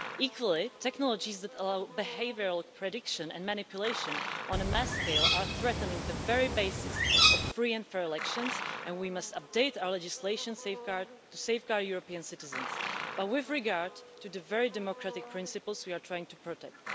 Equally, technologies that allow behavioural prediction and manipulation on a mass scale are threatening the very basis of free and fair elections, and we must update our legislation to safeguard European citizens but with regard to the very democratic principles we are trying to protect.